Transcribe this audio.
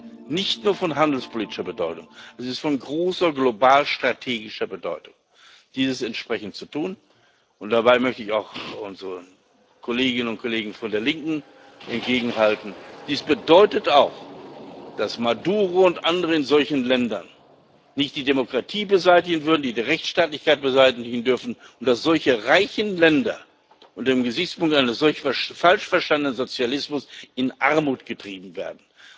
Es ist nicht nur von handelspolitischer, sondern von großer globalstrategischer Bedeutung, dieses entsprechend zu tun, und dabei möchte ich auch unseren Kolleginnen und Kollegen von der Linken entgegenhalten Dies bedeutet auch, dass Maduro und andere in solchen Ländern nicht die Demokratie und die Rechtsstaatlichkeit beseitigen dürfen und dass solche reichen Länder unter dem Gesichtspunkt eines solchen falsch verstanden Sozialismus in Armut getrieben werden.